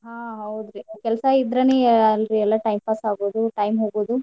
ಹಾ ಹೌದ್ರಿ. ಕೆಲ್ಸಾ ಇದ್ರೇನ್ ಅಲ್ರಿ ಎಲ್ಲ time pass ಆಗೋದು time ಹೋಗೋದು.